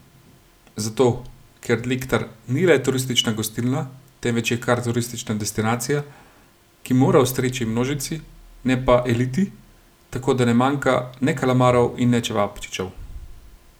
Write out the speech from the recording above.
Zato, ker Lectar ni le turistična gostilna, temveč je kar turistična destinacija, ki mora ustreči množici, ne pa eliti, tako da ne manjka ne kalamarov in ne čevapčičev.